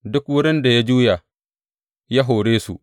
Duk wurin da ya juya, ya hore su.